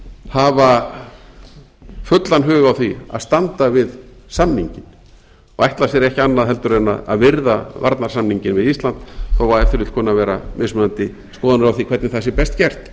hafa fullan hug á því að standa við samninginn og ætla sér ekki annað en að virða varnarsamninginn við ísland þó að ef til vill kunni að vera mismunandi skoðanir á því hvernig það sé best gert